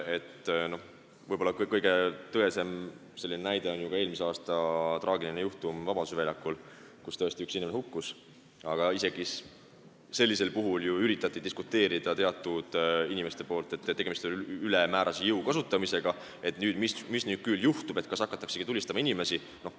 Võib-olla kõige selgem näide on ju eelmise aasta traagiline juhtum Vabaduse väljakul, kui tõesti üks inimene hukkus, aga isegi sellisel puhul üritasid teatud inimesed väita, et tegemist oli ülemäärase jõu kasutamisega ja mis nüüd küll juhtub, kas hakataksegi inimesi tulistama.